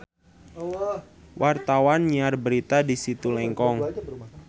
Wartawan keur nyiar berita di Situ Lengkong